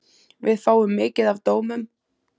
Við fáum mikið af dómum.